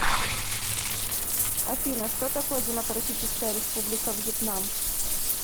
афина что такое демократическая республика вьетнам